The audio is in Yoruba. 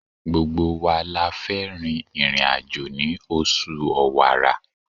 Gbogbo wa la fẹ́ rin ìrìn-àjò ní oṣù Ọ̀wàrà.